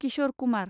Kishore Kumar